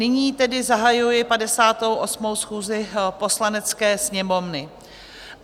Nyní tedy zahajuji 58. schůzi Poslanecké sněmovny.